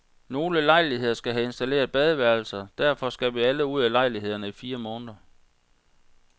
Nogle lejligheder skal have installeret badeværelser, derfor skal vi alle ud af lejlighederne i fire måneder.